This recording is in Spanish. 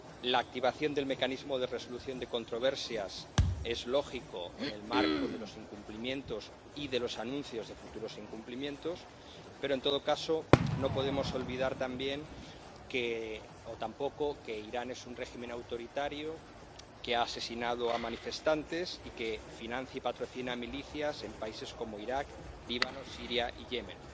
La activación del mecanismo de resolución de controversias es lógica en el marco de los incumplimientos y de los anuncios de futuros incumplimientos, pero, en todo caso, no podemos olvidar tampoco que Irán es un régimen autoritario, que ha asesinado a manifestantes y que financia y patrocina milicias en países como Irak, Líbano, Siria y Yemen.